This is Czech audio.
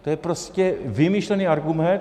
To je prostě vymyšlený argument.